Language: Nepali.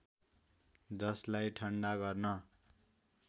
जसलाई ठन्डा गर्न